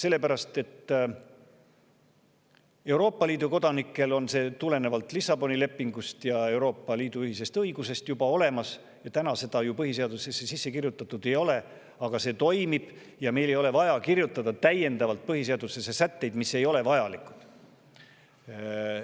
Euroopa Liidu kodanikel on see tulenevalt Lissaboni lepingust ja Euroopa Liidu ühisest õigusest juba olemas ja see toimib, kuigi seda ju põhiseadusesse sisse kirjutatud ei ole, ja meil ei ole vaja kirjutada põhiseadusesse sätteid, mis ei ole vajalikud.